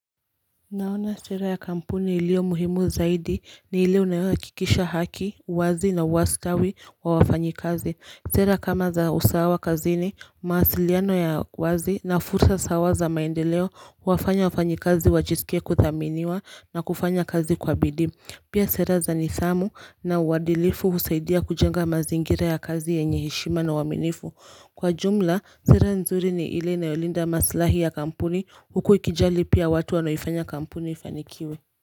Naona sera ya kampuni iliyo muhimu zaidi ni ile unayohakikisha haki, wazi na uwastawi wa wafanyi kazi Sera kama za usawa kazini mawasiliano ya uwazi na fursa sawa za maendeleo wafanya wafanyikazi wajisikie kuthaminiwa na kufanya kazi kwa bidii Pia sera za nidhamu na uwadilifu husaidia kujenga mazingira ya kazi yenye heshima na uaminifu Kwa jumla, sera nzuri ni ile inayolinda maslahi ya kampuni huku ikijali pia watu wanoifanya kampuni ifanikiwe.